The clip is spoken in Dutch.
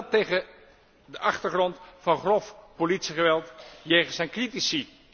En dat tegen de achtergrond van grof politiegeweld jegens zijn critici.